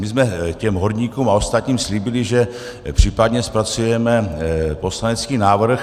My jsme těm horníkům a ostatním slíbili, že případně zpracujeme poslanecký návrh.